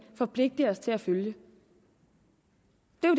forpligter os til at følge det